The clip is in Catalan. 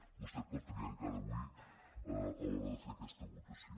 vostè pot triar encara avui a l’hora de fer aquesta votació